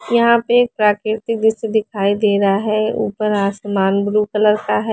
यहाँ पर प्राकृति जैसा दिखाई दे रहा है ऊपर आसमान ब्लू कलर का है।